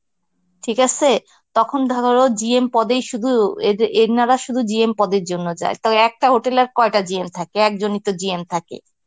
ঠিক আসে? তখন ধরো GM পদেই শুধু এদে~ এনারা শুধু GM পদের জন্য যায়, তবে একটা hotel এ আর কয়টা GM থাকে? একজনই তো GM থাকে.